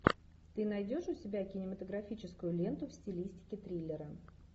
ты найдешь у себя кинематографическую ленту в стилистике триллера